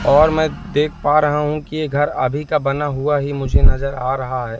और मैं देख पा रहा हूं कि ये घर अभी का बना हुआ ही मुझे नजर आ रहा है।